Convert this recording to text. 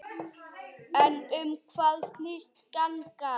En um hvað snýst gangan?